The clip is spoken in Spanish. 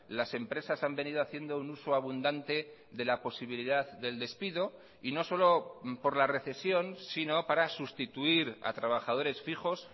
las empresas han venido haciendo un uso abundante de la posibilidad del despido y no solo por la recesión sino para sustituir a trabajadores fijos